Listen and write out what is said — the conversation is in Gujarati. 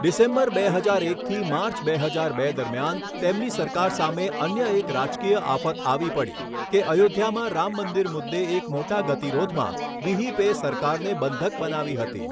ડિસેમ્બર બે હજાર એકથી માર્ચ બે હજાર બે દરમિયાન તેમની સરકાર સામે અન્ય એક રાજકીય આફત આવી પડી કે અયોધ્યામાં રામ મંદિર મુદ્દે એક મોટા ગતિરોધમાં વિહિપે સરકારને બંધક બનાવી હતી.